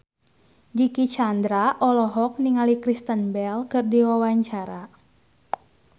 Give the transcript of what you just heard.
Dicky Chandra olohok ningali Kristen Bell keur diwawancara